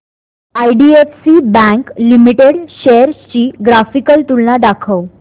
IDFC bank limited shares ची graphical तुलना दाखव